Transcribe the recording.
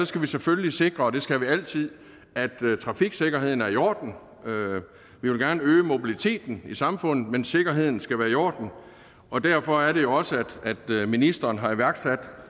skal vi selvfølgelig sikre og det skal vi altid at trafiksikkerheden er i orden vi vil gerne øge mobiliteten i samfundet men sikkerheden skal være i orden og derfor er det jo også at ministeren har iværksat